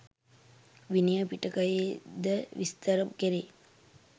විනය පිටකයේද විස්තර කෙරේ.